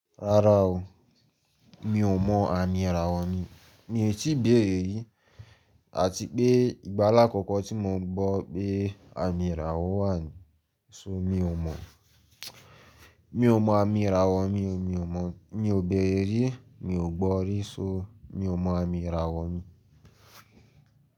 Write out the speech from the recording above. Rárá o, mi ò mọ àmì ìràwọ̀ mi. Mi ò tí ì bẹ̀rẹ̀ rí àti pé ìgbà alákọ̀ọ́ tí mo gbọ́ pé àmì ìràwọ̀ wà ni, so mi ò mọ̀. Mi ò mọ àmì ìràwọ̀ mi o, mi ò mọ̀. Mi ò bẹ̀rẹ̀ rí, mi ò gbọ́ rí, so mi ò mọ àmì ìràwọ̀ mi.